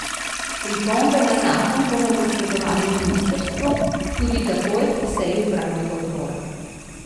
Pripombe na zakon bomo posredovali ministrstvu tudi takoj po seji upravnega odbora.